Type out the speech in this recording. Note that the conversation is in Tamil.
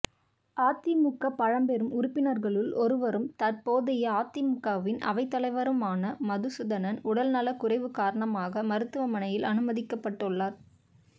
அதிமுக பழம்பெரும் உறுப்பினர்களுள் ஒருவரும் தற்போதைய அதிமுகவின் அவைத்தலைவருமான மதுசூதனன் உடல்நலக் குறைவுக் காரணமாக மருத்துவமனையில் அனுமதிக்கப்பட்டுள்ளார்